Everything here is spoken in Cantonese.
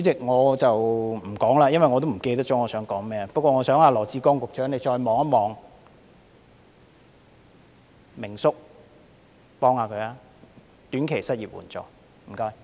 我已忘記想說甚麼，但我想羅致光局長再看看明叔的個案，幫幫他，設立短期失業援助金，謝謝。